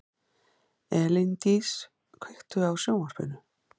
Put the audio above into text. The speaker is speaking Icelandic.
Elíndís, kveiktu á sjónvarpinu.